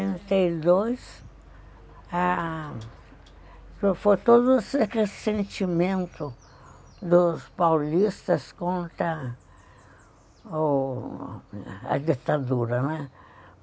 Trinta e dois, ah, foi todo esse ressentimento dos paulistas contra o a ditadura, né?